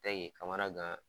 De ye kamana gan